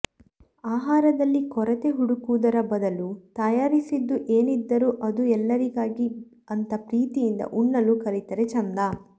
ಆಹಾರದಲ್ಲಿ ಕೊರತೆ ಹುಡುಕುವುದರ ಬದಲು ತಯಾರಿಸಿದ್ದು ಏನಿದ್ದರೂ ಅದು ಎಲ್ಲರಿಗಾಗಿ ಅಂತ ಪ್ರೀತಿಯಿಂದ ಉಣ್ಣಲು ಕಲಿತರೆ ಚೆಂದ